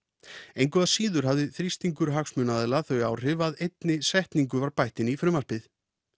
engu að síður hafði þrýstingur hagsmunaaðila þau áhrif að einni setningu var bætt inn í frumvarpið